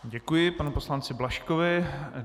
Děkuji panu poslanci Blažkovi.